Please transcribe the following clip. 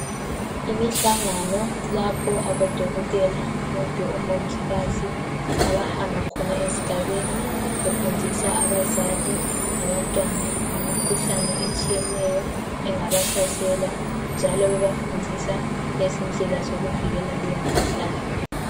Imihlangano lapho abodokoteka kumbe omongikazi abahamba khona ezigabeni befundisa abazali labantwana ngemikhuhlane etshiyeneyo engabahlasela njalo bebafundisa ngezindlela zokuvikela leyi mikhuhlane.